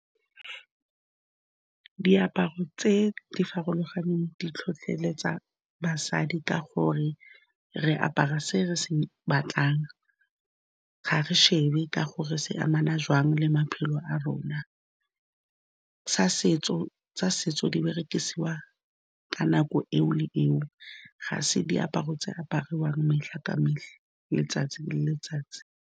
Diaparo tse di farologaneng di tlhotlheletsa basadi ka gore re apara se re se batlang ga re shebe ka gore se amana jwang le maphelo a rona, tsa setso di berekisiwa ka nako eo le eo, ga se diaparo tse apariwang ka letsatsi le letsatsi.